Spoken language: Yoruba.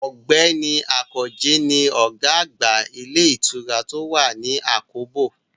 Ọ̀gbẹ́ni Àkànjí ni ọ̀gá àgbà ilé ìtura tó wà ní àkóbò